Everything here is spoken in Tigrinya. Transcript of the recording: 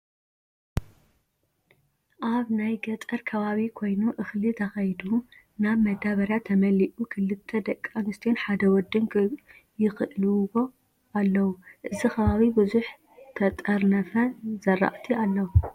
ኣብ ናይ ገጠር ከባቢ ኮይኑ እክሊ ተከይዱ ናብ መዳበርያ ተመሊኡ ክልተ ደቂ ኣንስትዮን ሓደ ወድን ይክልውዎ ኣለው። እዚ ከባቢ ብዙሕ ተጠርነፈ ዝረኣቲ ኣለው።